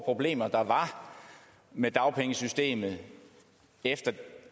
problemer med dagpengesystemet efter